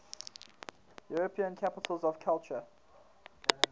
european capitals of culture